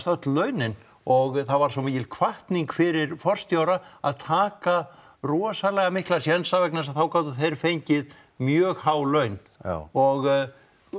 öll launin og það var svo mikil hvatning fyrir forstjóra að taka rosalega mikla sénsa vegna þess að þá gátu þeir fengið mjög há laun já og